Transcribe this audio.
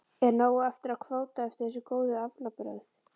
Er nóg eftir af kvóta eftir þessi góðu aflabrögð?